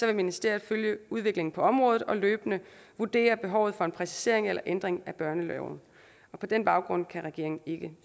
vil ministeriet følge udviklingen på området og løbende vurdere behovet for en præcisering eller ændring af børneloven og på den baggrund kan regeringen ikke